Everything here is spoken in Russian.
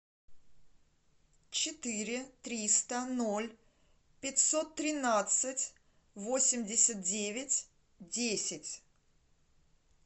четыре триста ноль пятьсот тринадцать восемьдесят девять десять